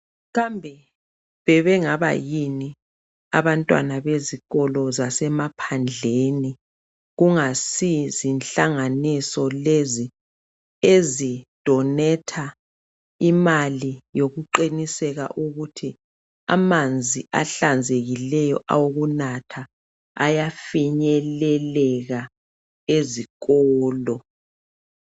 Kambe bebengaba yini abantwana bezikolo zasemaphandlelani kungasi zinhlanganiso lezi ezidonetha imali yokuqiniseka ukuthi amanzi ahlanzekileyo awokunathi ayafinyeleleka ezikolo